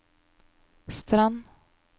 Strand